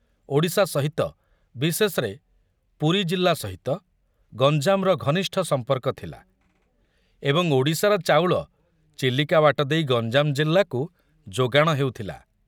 ଓଡ଼ିଶା ସହିତ, ବିଶେଷରେ ପୁରୀ ଜିଲ୍ଲା ସହିତ, ଗଞ୍ଜାମର ଘନିଷ୍ଠ ସମ୍ପର୍କ ଥିଲା ଏବଂ ଓଡ଼ିଶାର ଚାଉଳ ଚିଲିକା ବାଟ ଦେଇ ଗଞ୍ଜାମ ଜିଲ୍ଲାକୁ ଯୋଗାଣ ହେଉଥିଲା।